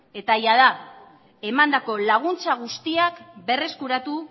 eta jada emandako laguntza guztiak berreskuratu